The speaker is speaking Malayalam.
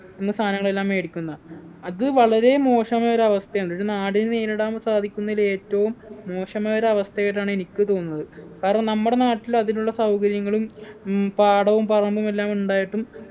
എന്ന സാധനങ്ങളെല്ലാം മേടിക്കുന്ന അത് വളരെ മോശമായൊരവസ്ഥയാണ് ഒരു നാടിനു നേരിടാൻ സാധിക്കുന്നയിൽ ഏറ്റവും മോശമായൊരവസ്ഥയായിട്ടാണ് എനിക്ക് തോന്നുന്നത് കാരണം നമ്മടെ നാട്ടിൽ അതിനുള്ള സൗകര്യങ്ങളും ഉം പാടവും പറമ്പും എല്ലാം ഉണ്ടായിട്ടും